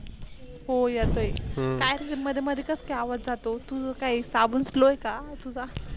हो येतोय हम्म काय तुझ मध्ये मध्ये कस काय आवाज जातो? तुझ काय साबून स्लोव आहे का?